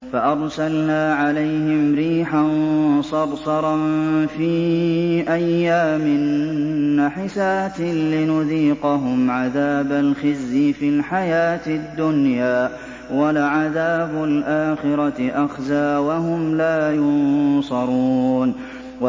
فَأَرْسَلْنَا عَلَيْهِمْ رِيحًا صَرْصَرًا فِي أَيَّامٍ نَّحِسَاتٍ لِّنُذِيقَهُمْ عَذَابَ الْخِزْيِ فِي الْحَيَاةِ الدُّنْيَا ۖ وَلَعَذَابُ الْآخِرَةِ أَخْزَىٰ ۖ وَهُمْ لَا يُنصَرُونَ